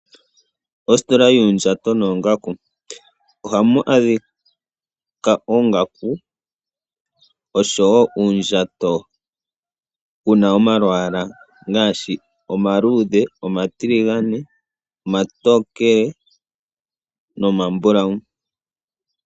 Ositola yoondjato noongaku ohamu adhika oongaku oshowo uundjato wuna omalwaala ngaashi omaluudhe, omatiligane, omatokele nomambulawu.